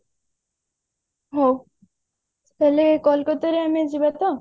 ହଉ ତାହେଲେ କୋଲକାତା ଆମେ ଯିବାତ